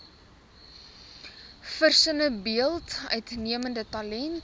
versinnebeeld uitnemende talent